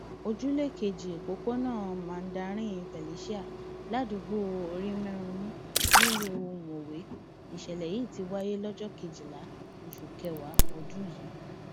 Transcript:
ojúlé keje òpópónà mandarin felicia ládùúgbò orímẹrùnmù nílùú mọwé nìṣẹlẹ yìí ti wáyé lọjọ kejìlá oṣù kẹwàá ọdún yìí